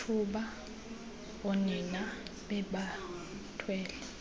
ngethuba oonina bebathwele